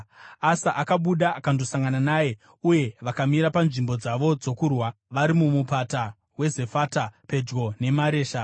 Asa akabuda akandosangana naye uye vakamira panzvimbo dzavo dzokurwa vari mumupata weZefata pedyo neMaresha.